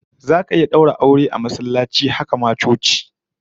Za'a iya daura aure a masallaci, haka ma coci